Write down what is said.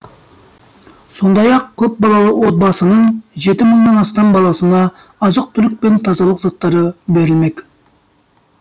сондай ақ көпбалалы отбасының жеті мыңнан астам баласына азық түлік пен тазалық заттары берілмек